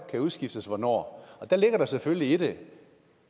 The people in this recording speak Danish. kan udskiftes hvornår der ligger der selvfølgelig i det